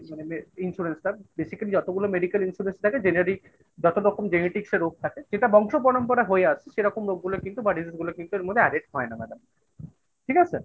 মানে insurance টা basically যতগুলো medical insurance থাকে Generally যতরকম জেনেটিকসের রোগ থাকে যেটা বংশপরম্পরায় হয়ে আসছে. সেরকম রোগগুলোর কিন্তু বা Diseases গুলো কিন্তু মধ্যে added হয় না madam , ঠিক আছে?